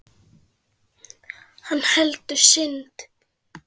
Hann heldur synd